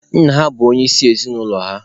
Nna ha bụ onye isi ezinụlọ ha.